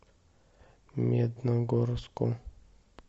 медногорску